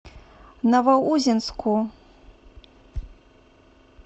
новоузенску